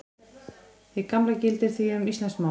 Hið sama gildir því um íslenskt mál.